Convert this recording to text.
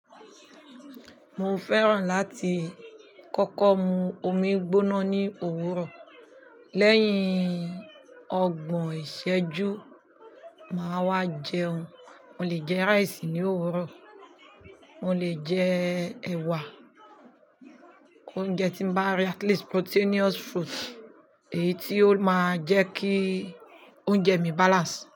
Mo fẹ́ràn láti kọ́kọ́ mu omi gbóná ní òwúrọ̀. Lẹ́yìn ọgbọ̀n ìṣẹ́jú, màá wá jẹun. Mo lè jẹ rice ní òwúrọ̀, mo lè jẹ ẹ̀wà, oúnjẹ tí mo bá rí at least proteinous food èyí tí ó máa jẹ́ kí oúnjẹ mi balance.